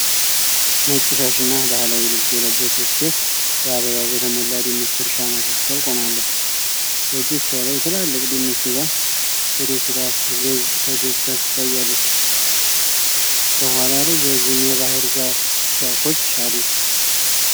ነጭ ሻሽና ባህላዊ ልብስ የለበሰች ሴት በአበባ በተሞላ ድንች እርሻ መካከል ቆማለች። በእጆቿ ላይ ትላልቅ ድንች ይዛ በደስታ ፈገግታ ታሳያለች። ከኋላ ረዣዥም የባህር ዛፍ ዛፎች አሉ።